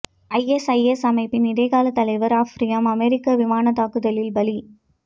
ISIS அமைப்பின் இடைக்கால தலைவர் அஃப்ரியும் அமெரிக்க விமானத் தாக்குதலில் பலி